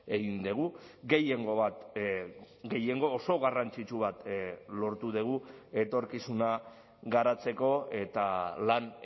egin dugu gehiengo bat gehiengo oso garrantzitsu bat lortu dugu etorkizuna garatzeko eta lan